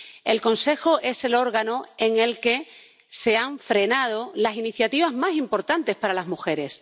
El Consejo es el órgano en el que se han frenado las iniciativas más importantes para las mujeres.